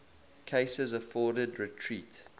cases afforded retreat